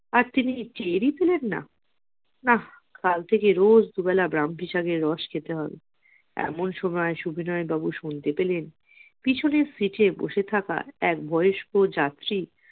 আর তিনি টেরই পেলেন না না কাল থেকে রোজ দুবেলা ব্রাহ্মী শাকের রস খেতে হবে। এমন সময় সুবিনয় বাবু শুনতে পেলেন পেছনের seat এ বসে থাকা এক বয়স্ক যাত্রী